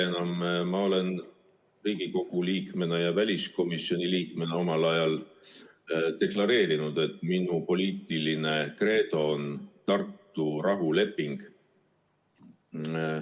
Aga ma olen Riigikogu liikmena ja väliskomisjoni liikmena omal ajal deklareerinud, et minu poliitiline kreedo on Tartu rahuleping.